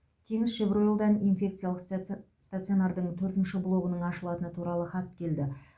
теңізшевройлдан инфекциялық статц стационардың төртінші блогының ашылатыны туралы хат келді